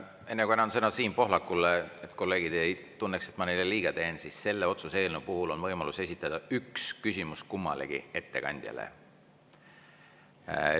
Enne kui annan sõna Siim Pohlakule, et kolleegid ei tunneks, et ma neile liiga, siis selle otsuse eelnõu puhul on võimalus esitada üks küsimus kummalegi ettekandjale.